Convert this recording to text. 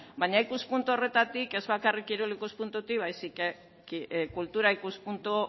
baina ikuspuntu horretatik ez bakarrik kirol ikuspuntutik baizik eta kultura ikuspuntu